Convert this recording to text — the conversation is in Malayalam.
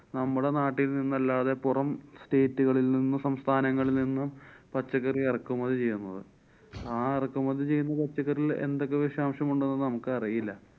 നമ്മുടെ നാട്ടില്‍ നിന്നല്ലാതെ പൊറം state കളില്‍ നിന്ന്~ സംസ്ഥാനങ്ങളില്‍ നിന്ന് പച്ചക്കറി ഇറക്കുമതി ചെയ്യുന്നത്. ആ എറക്കുമതി പച്ചക്കറിയില്‍ എന്തൊക്കെ വിഷാംശം ഉണ്ടെന്നു നമുക്കറിയില്ല.